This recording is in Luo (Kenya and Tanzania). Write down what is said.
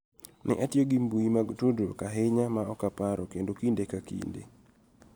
Ne atiyo gi mbui mag tudruok ahinya ma ok aparo kendo kinde ka kinde�